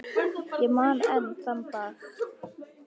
Ég man enn þann dag.